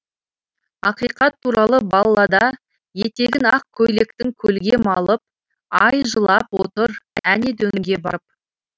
ақиқат туралы баллада етегін ақ көйлектің көлге малып ай жылап отыр әне дөңге барып